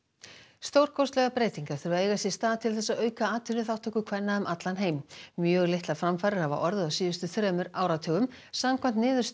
stórkostlegar breytingar þurfa að eiga sér stað til þess að auka atvinnuþátttöku kvenna um allan heim mjög litlar framfarir hafa orðið á síðustu þremur áratugum samkvæmt niðurstöðum